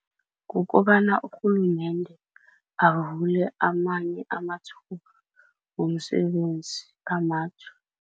Kukobana urhulumende avule amanye amathuba womsebenzi